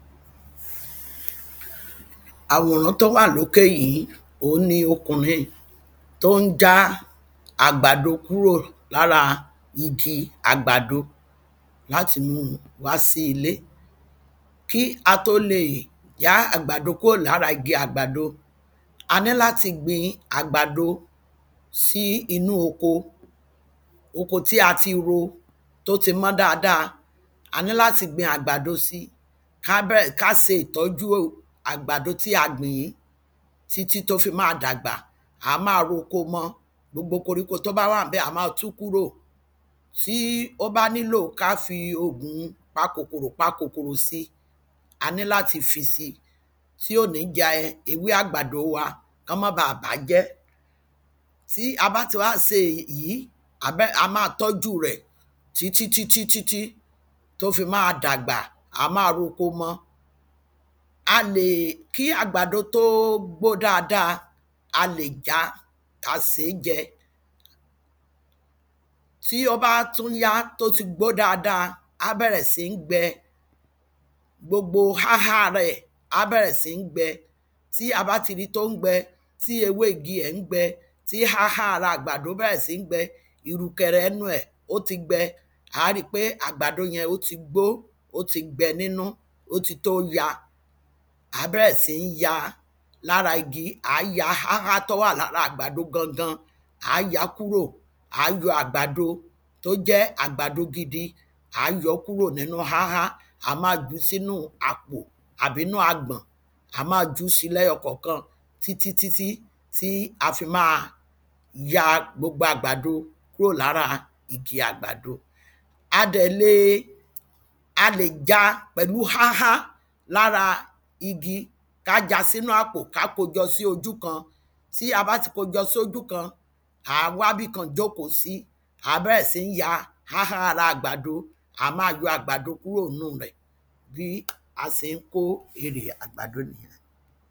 Àwòrán tó wà lókè yìí òhun ni ọkùnrin tó ń já àgbàdo kúrò lára igi àgbàdo láti mú wá sí ilé. Kí a tó le já àgbàdo kúrò lára igi àgbàdo a ní láti gbin àgbàdo sí inú oko oko tí a ti ro tí ó ti mọ́ dáada a ní láti gbin àgbàdo sí ká bẹ̀rẹ̀ ká se ìtọ́jú àgbàdo tí a gbìn yìí títí tó fi má dàgbà à á má roko mọ́ gbogbo koríko tó bá wà ńbẹ̀ à á má tú kúrò. Tí ó bá nílò ká fi ògùn pa kòkòrò pa kòkòrò sí a ní láti fi sí tí ò ní ya ewé àgbàdo wa kí wọ́n má ba bàájẹ́ tí a bá ti wá se èjí a má tọ́jú rẹ̀ títí títí tó fi má dàgbà a má roko mọ́ a lè kí àgbàdo tó gbó dáada a lè já ká sèé jẹ. Tí ó bá tún yá tó ti gbó dáada á bẹ̀rẹ̀ sí ní gbẹ gbogbo háhá rẹ̀ á bẹ̀rẹ̀ sí ní gbẹ tí a bá ti rí tó ń gbẹ tí ewé igi rẹ̀ ń gbẹ tí háhá rẹ̀ bẹ̀rẹ̀ sí ní gbẹ ìrùkẹ̀rẹ̀ ẹnu ẹ̀ ó ti gbẹ à á rí pé àgbàdo yẹn ó ti gbó ó ti gbẹ nínú ó ti tó ya à á bẹ̀rẹ̀ sí ní ya lára igi à á ya háhá tó wà lára àgbàdo gangan à á yá kúrò à á yọ àgbàdo tó jẹ́ àgbàdo gidi à á yọ́ kúrò nínú háhá à á má kó sínú àpò tàbí agbọ̀n à á má jú sí lẹ́yọkọ̀kan títí títí a fi má ja gbogbo àgbàdo kúɹò láɹa kìkì àgbàdo A dẹ̀ le a lè já pẹ̀lú háhá lára igi ká já sínú àpò ká kó jọ sí ojú kan tí a bá ti kó jọ sí ojú kan à á wá bìkan jóòkó sí à á bẹ̀rẹ̀ sí ní ya háhá ibi àgbàdo à á má yọ́ àgbàdo kúrò nínú rẹ̀ bí a se ń kó erè àgbàdo nìyẹn.